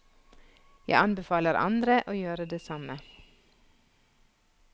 Jeg anbefaler andre å gjøre det samme.